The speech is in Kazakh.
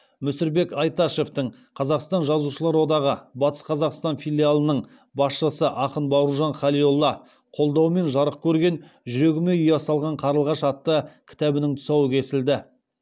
мүсірбек айташевтің қазақстан жазушылар одағы батыс қазақстан филиалының қолдауымен жарық көрген жүрегіме ұя салған қарлығаш атты кітабының тұсауы кесілді